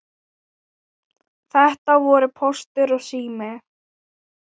Þetta voru Póstur og Sími.